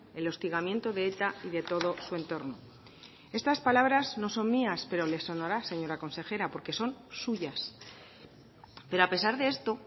el hostigamiento de eta y de todo su entorno estas palabras no son mías pero le sonará señora consejera porque son suyas pero a pesar de esto